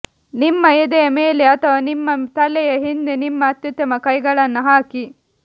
ನಿಮ್ಮ ಎದೆಯ ಮೇಲೆ ಅಥವಾ ನಿಮ್ಮ ತಲೆಯ ಹಿಂದೆ ನಿಮ್ಮ ಅತ್ಯುತ್ತಮ ಕೈಗಳನ್ನು ಹಾಕಿ